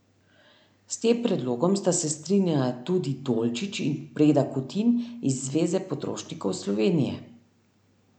S tem predlogom sta se strinjala tudi Dolčič in Breda Kutin iz Zveze potrošnikov Slovenije.